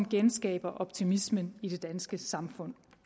genskaber optimismen i det danske samfund